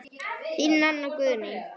Þín, Nanna Guðný.